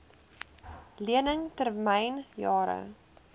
lening termyn jare